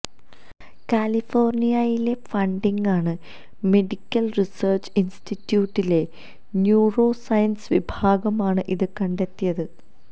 കാലിഫോര്ണിയയിലെ Huntington medical research ഇന്സ്റ്റിറ്റ്യൂട്ടിലെ neuroscience വിഭാഗമാണ് ഇത് കണ്ടെത്തിയത്